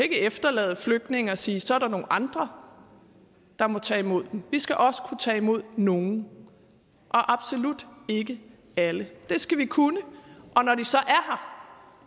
efterlade flygtninge og sige at så er der nogle andre der må tage imod dem vi skal også kunne tage imod nogle og absolut ikke alle det skal vi kunne og når de